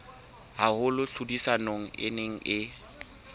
haholo tlhodisanong e neng e